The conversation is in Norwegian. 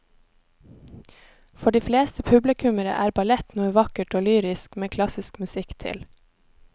For de fleste publikummere er ballett noe vakkert og lyrisk med klassisk musikk til.